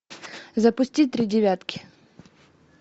запусти три девятки